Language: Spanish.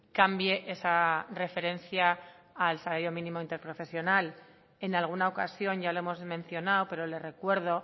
cambie esa referencia al salario mínimo interprofesional en alguna ocasión ya lo hemos mencionado pero le recuerdo